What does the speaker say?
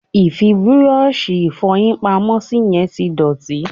Ì fi búrọ́ọ̀ṣì Ìfọ̀yín pamọ́ sí yẹn tí dọ̀tí